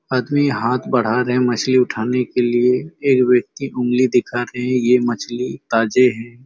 आदमी हाथ बढ़ा रहे हैं मछली उठाने के लिए एक व्यक्ति उँगली दिखा रहे हैं ये मछली ताजे हैं।